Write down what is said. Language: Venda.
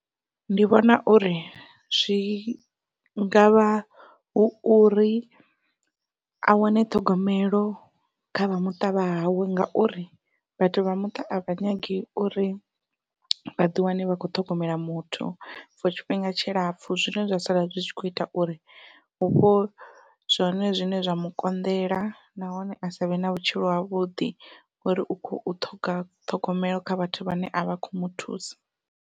Ndi vhona uri zwi ngavha hu uri a wane ṱhogomelo kha vha muṱa vha hawe ngauri vhathu vha muṱa a vha nyagi uri vhaḓi wane vhakho ṱhogomela muthu for tshifhinga tshilapfhu zwine zwa sala zwi tshi kho ita uri vhupo zwone zwine zwa mukonḓela nahone asavhe na vhutshilo havhuḓi ngauri u khou ṱhoga ṱhogomelo kha vhathu vhane avha kho muthusa.